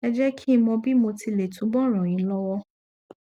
ẹ jẹ kí n mọ bí mo ti lè túbọ ràn yín lọwọ